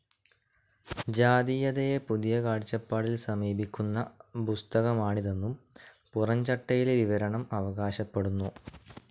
ജാതീയതയെ പുതിയ കാഴ്ചപ്പാടിൽ സമീപിക്കുന്ന പുസ്തകമാണിതെന്നു പുറം ചട്ടയിലെ വിവരണം അവകാശപ്പെടുന്നു.